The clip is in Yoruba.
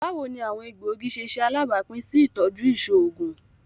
Bawo ni awọn egboogi ṣe ṣe alabapin si itọju iṣoogun?